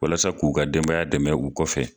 Walasa k'u ka denbaya dɛmɛ k'u kɔfɛ.